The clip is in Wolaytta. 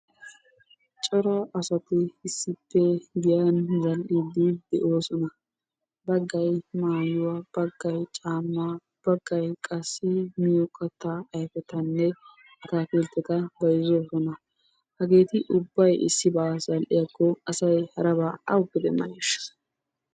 Cora asati issippe giyan zal"iiddi de'oosona. Baggay maayuwa, baggay caammaa, baggay qassi miyo kattaa ayfetanne ataakiltteta bayzzoosona. Hageeti ubbay issibaa zal"iyakko asay harabaa awuppe demmaneeshsha?